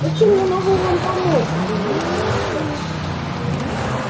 но чем я могу вам помочь удивился артем